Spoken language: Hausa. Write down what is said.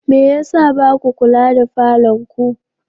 Me ya sa ba ku kula da falonku?